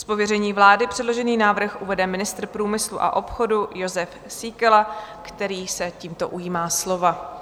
Z pověření vlády předložený návrh uvede ministr průmyslu a obchodu Jozef Síkela, který se tímto ujímá slova.